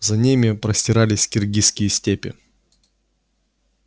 за ними простирались киргизские степи